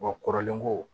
Wa kɔrɔlen ko